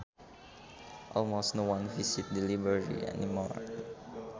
Almost no one visits the library anymore